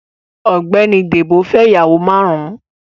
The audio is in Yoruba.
Ọ̀gbẹ́ni Débò fẹ́ ìyàwó márùn-ún.